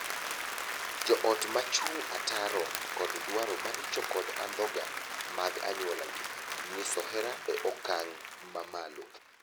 Joot ma chung' ataro kod dwaro maricho kod andhoga mag anyuolagi nyiso hera e okang' ma malo.